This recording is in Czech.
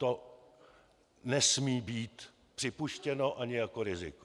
To nesmí být připuštěno ani jako riziko.